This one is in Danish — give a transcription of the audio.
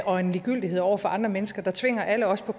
og en ligegyldighed over for andre mennesker der tvinger alle os på